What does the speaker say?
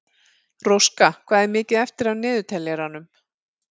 Róska, hvað er mikið eftir af niðurteljaranum?